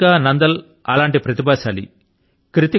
కృతికా నాందల్ అటువంటి ప్రతిభాశాలి పుత్రిక